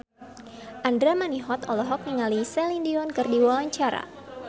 Andra Manihot olohok ningali Celine Dion keur diwawancara